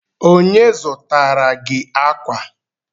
Onye zụtara gi akwa?